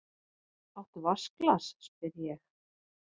Áttu vatnsglas, spyr ég.